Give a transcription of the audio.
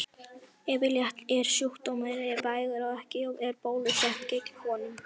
Yfirleitt er sjúkdómurinn vægur og ekki er bólusett gegn honum.